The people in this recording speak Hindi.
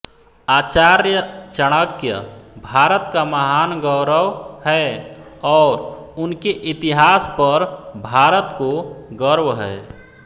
आचार्य चाणक्य भारत का महान गौरव है और उनके इतिहास पर भारत को गर्व है